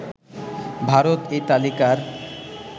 ভারত এই তালিকার